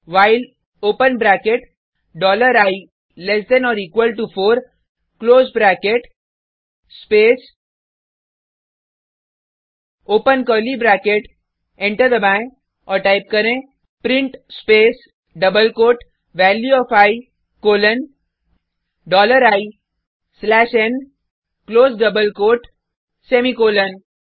while open bracket dollar i less than or equal to four close bracket space open curly bracket enter दबाएँ और type करें print space double quote value of i colon dollar i slash n close double quote semicolon